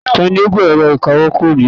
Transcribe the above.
tani ó gbé ẹ̀rọ ìkawó kúrò níbí